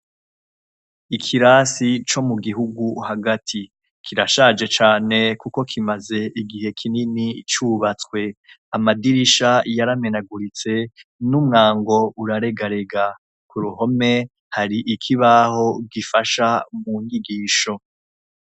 Ikirasi co mu gihugu hagati, kirashaje cane kuko kimaze igihe kinini cubatse. Amadirisha yaramenaguritse n'umwango uraregarega. Ku ruhome hari ikibaho kifasha mu nyigisho.